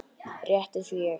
Rétt eins og ég.